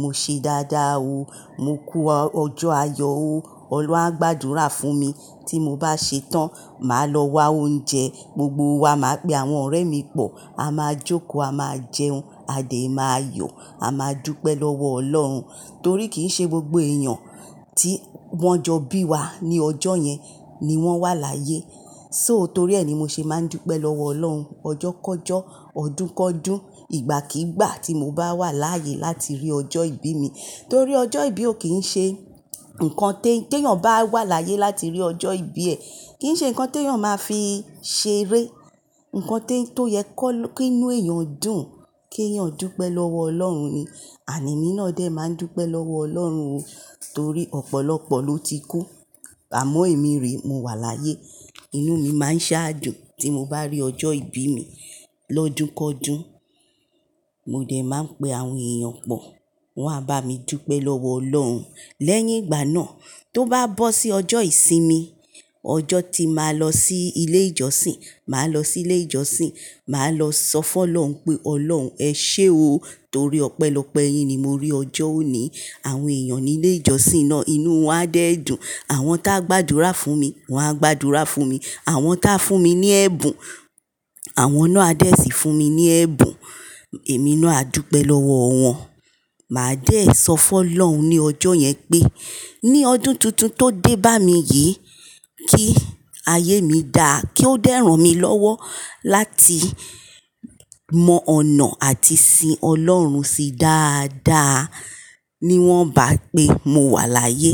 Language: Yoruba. mo ṣe dáadáa o, mo kú ọjọ́ ayọ̀ o, Ọlọ́run á gbàdúrà fún mi. Tí mo bá ṣe tán, màá lọ wa oúnjẹ, gbogbo wa máa pe àwọn ọ̀rẹ́ mi pọ̀, a máa jókòó, a máa jẹun, a dè máa yọ̀, a máa dúpẹ́ lọ́wọ́ Ọlọ́run. Torí kì í ṣe gbogbo èèyàn tí wọ́n jọ bí wa ní ọjọ́ yẹn ni wọ́n wà láyé. So, torí ẹ ni mo ṣe máa ń dúpẹ́ lọ́wọ́ Ọlọ́run. Ọjọ́ kọ́jọ́, ọdún kọ́dún, ìgbàkígbà tí mo bá wà láyé láti rí ọjọ́ ìbí mi. Torí ọjọ́ ìbí o kì í ṣe, nǹkan, ti èèyàn bá wà láyé láti rí ọjọ́ ìbí ẹ. Kì n ṣe nǹkan ti eeyan máa fi ṣeré. Nǹkan tó yẹ ki inú èèyàn dùn, kí èèyàn dúpẹ́ lọ́wọ́ Ọlọ́run ni. And emi náà dè máa ń dúpẹ́ lọ́wọ́ Ọlọ́run o torí ọ̀pọ̀lọpọ̀ ló ti kú. Àmọ́ èmi re, mo wà láyé. Inú mi máa ń ṣaájò tí mo bá rí ọjọ́ ìbí mi lọ́dún kọ́dún. Mo dè máa ń pe àwọn èèyàn pọ̀, won a bá mi dúpẹ́ lọ́wọ́ Ọlọ́run. Lẹ́yìn ìgbà náà, tó bá bọ́ sí ọjọ́ ìsinmi, ọjọ́ tí màá lọ sí ilé ìjọsìn, màá lọ sí ilé ìjọsìn, màá lọ sọ fún Ọlọ́run pé Ọlọ́run ẹ ṣé o torí ọpẹ́lọpẹ́ yín ni mo rí ọjọ́ òní. Àwọn èèyàn ní ilé ìjọsìn náà, inú wọn á dè dùn. Àwọn tá gbàdúrà fún mi, wọ́n á gbàdúrà fún mi. Àwọn tá fún mi ní ẹ̀bùn, àwọn náà a dè sì fún mi ní ẹ̀bùn. Èmi náà á dúpẹ́ lọ́wọ́ wọn. Màá dẹ́ sọ fún Ọlọ́run ní ọjọ́ yẹn pé, ní ọdún tuntun tó dé bá mi yìí, kí ayé mi dáa, kí ó dẹ́rùn mi lọ́wọ́ láti mọ ọ̀nà àti sìn Ọlọ́run si dáadáa. Ni wọ́n bá pé mo wà láyé.